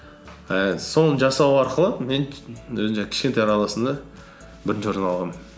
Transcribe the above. ііі соны жасау арқылы мен өзімше кішкентайлар арасында бірінші орын алғанмын